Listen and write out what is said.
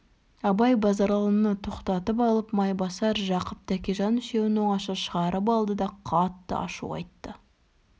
абай базаралыны тоқтатып қойып майбасар жақып тәкежан үшеуін оңаша шығарып алды да қатты ашу айтты